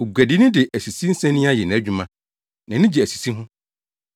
Oguadini de asisi nsania yɛ nʼadwuma; nʼani gye asisi ho.